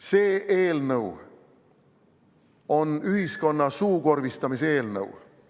See eelnõu on ühiskonna suukorvistamise eelnõu.